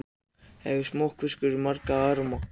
Hvað hefur smokkfiskur marga arma?